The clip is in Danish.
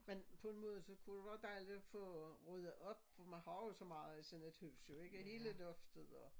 Men på en måde så kunne det være dejligt at få ryddet op for man har jo så meget i sådan et hus jo ikke hele loftet og